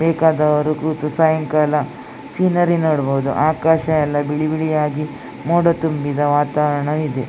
ಬೇಕಾದವರು ಕೂತು ಸಾಯಂಕಾಲ ಸೀನೇರಿ ನೋಡಬಹದು ಆಕಾಶ ಎಲ್ಲ ಬಿಳಿ ಬಿಳಿಯಾಗಿ ಮೋಡ ತುಂಬಿದ ವಾತಾವರಣವಿದೆ .